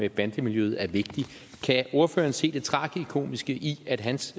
i bandemiljøet er vigtig kan ordføreren se det tragikomiske i at hans